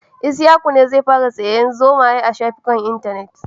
Isyaku ne zai fara sayar zomaye a safukan Intanet